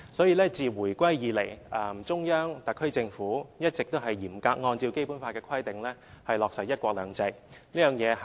因此，自回歸以來，中央和特區政府一直也嚴格按照《基本法》的規定，落實"一國兩制"。